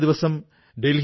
നന്ദി പ്രധാനമന്ത്രി ജീ